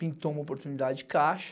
Pintou uma oportunidade Caixa,